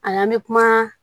A la an bɛ kuma